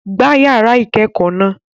Gbá yàrá ìkẹ́kọ̀ọ́ náà!